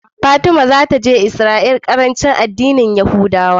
Fatima zata je Israel la karanci a dinnin yahudawa